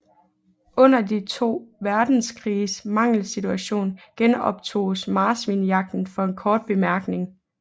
Under de to verdenskriges mangelsituation genoptoges marsvinejagten for en kort bemærkning